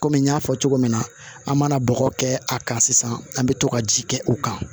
Kɔmi n y'a fɔ cogo min na an mana bɔgɔ kɛ a kan sisan an bɛ to ka ji kɛ u kan